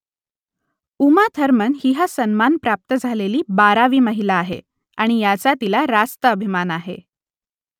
Uma Thurman ही हा सन्मान प्राप्त झालेली बारावी महिला आहे आणि याचा तिला रास्त अभिमान आहे